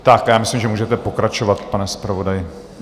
A já myslím, že můžete pokračovat, pane zpravodaji.